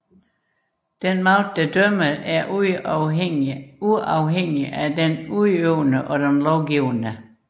Den dømmende magt er uafhængig af den udøvende og den lovgivende